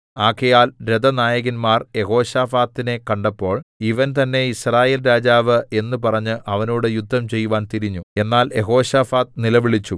ആകയാൽ രഥനായകന്മാർ യെഹോശാഥാത്തിനെ കണ്ടപ്പോൾ ഇവൻ തന്നേ യിസ്രായേൽ രാജാവ് എന്ന് പറഞ്ഞ് അവനോട് യുദ്ധം ചെയ്യുവാൻ തിരിഞ്ഞു എന്നാൽ യെഹോശാഫാത്ത് നിലവിളിച്ചു